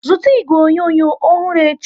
Zụta igwe onyonyo ọhụrụ echi!